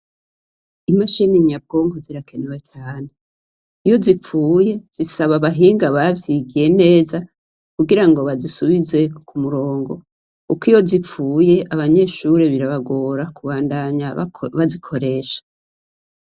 Imashini nyabwonko zirakenerwa cane. Iyo zipfuye zisaba ahahinga bavyigiye neza kugirango bazisubize ku murongo. Kuko iyo zipfuye abanyeshure birabagora kubandanya bazikoresha.